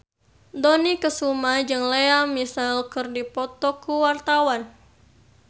Dony Kesuma jeung Lea Michele keur dipoto ku wartawan